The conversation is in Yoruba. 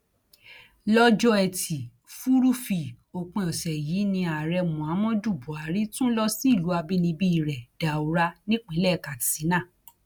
lọjọ etí furuufee òpin ọsẹ yìí ni ààrẹ muhammadu buhari tún lọ sí ìlú àbínibí rẹ daura nípínlẹ katsina